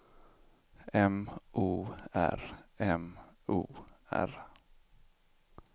M O R M O R